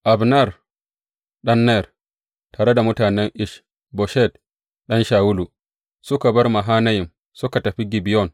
Abner ɗan Ner, tare da mutanen Ish Boshet ɗan Shawulu, suka bar Mahanayim suka tafi Gibeyon.